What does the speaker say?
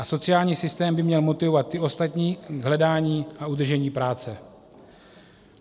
A sociální systém by měl motivovat ty ostatní k hledání a udržení práce.